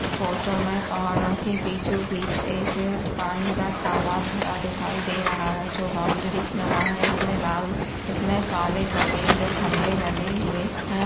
इस फोटो में पहाड़ों के बीचों बीच एक पानी का तालाब भरा दिखाई दे रहा है जो बाउंड्री नुमा है इसमें लाल इसमें काले सफ़ेद खम्बे लगे हुए है।